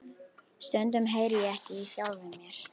Stundum heyri ég ekki í sjálfum mér.